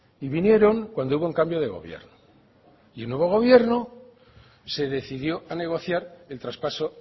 y vinieron cuando hubo un cambio de gobierno y nuevo gobierno se decidió a negociar el traspaso